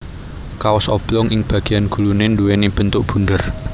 Kaos oblong ing bagéyan guluné nduwèni bentuk bunder